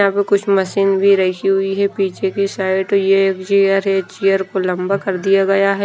यहां पे कुछ मशीन भी रखी हुई है पीछे की साइड तो ये एक चेयर है चेयर को लंबा कर दिया गया है।